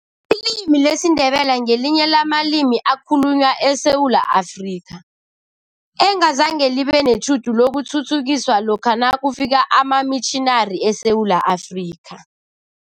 Ilimi lesiNdebele ngelinye lamalimi ekhalunywa eSewula Afrika, engazange libe netjhudu lokuthuthukiswa lokha nakufika amamitjhinari eSewula Afrika.